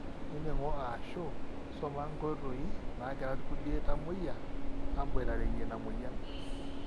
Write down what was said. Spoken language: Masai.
nining'o aashu soma inkoitoi naagira irkulie tamweyia aaboitareyie ina mweyian